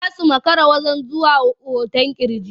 Za su makara zuwa wajen hoton ƙirji.